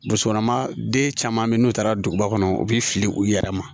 Musokɔnɔma den caman bɛ yen n'o taara duguba kɔnɔ u bɛ fili u yɛrɛ ma